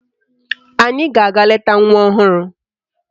Anyị ga-aga leta nwa ọhụrụ